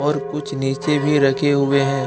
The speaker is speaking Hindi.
कुछ नीचे भी रखे हुए है।